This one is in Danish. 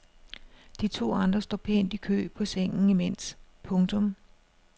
De to andre står pænt i kø på sengen imens. punktum